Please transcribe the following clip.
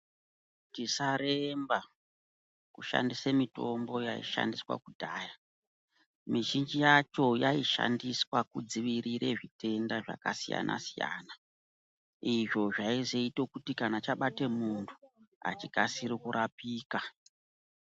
Tisaremba kushandise mitombo yaishandiswa kudhaya . Mizhinji yacho yaishandiswa kudzivirire zvitenda zvakasiyana-siyana. Izvo zvaizoite kuti kana chabate muntu hachikasiri kurapika.